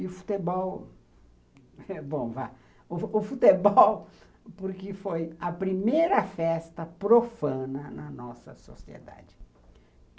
E o futebol... Bom, vá... O futebol porque foi a primeira festa profana na nossa sociedade.